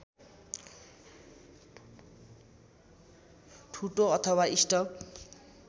ठुटो अथवा स्टब